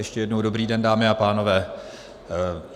Ještě jednou dobrý den, dámy a pánové.